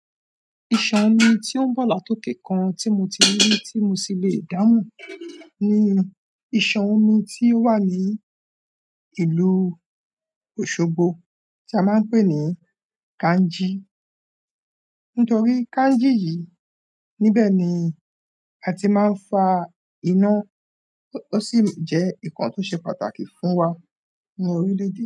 Ìṣàn omi tí o ń bọ̀ látòkè kan tí mo tí rí rí tí mo sì lè dáhùn ni ìṣàn omi tí ó wa ní ìlú Osogbo tí a máa ń pè ní "Kanji". Nítorí Kanji yìí, níbẹ̀ ni a ti máa ń fa iná, ó sì jẹ́ nǹkan tó ṣe pàtàkì fún wa nínú orílẹ̀-èdè.